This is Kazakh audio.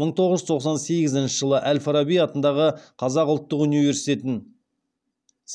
мың тоғыз жүз тоқсан сегізінші жылы әл фараби атындағы қазақ ұлттық университетін